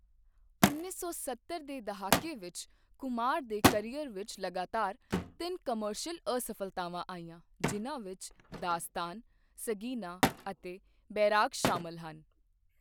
ਉੱਨੀ ਸੌ ਸੱਤਰ ਦੇ ਦਹਾਕੇ ਵਿੱਚ ਕੁਮਾਰ ਦੇ ਕਰੀਅਰ ਵਿੱਚ ਲਗਾਤਾਰ ਤਿੰਨ ਕਮਰਸ਼ੀਅਲ ਅਸਫ਼ਲਤਾਵਾਂ ਆਈਆਂ ਜਿਨ੍ਹਾਂ ਵਿੱਚ 'ਦਾਸਤਾਨ', 'ਸਗੀਨਾ' ਅਤੇ 'ਬੈਰਾਗ' ਸ਼ਾਮਲ ਹਨ।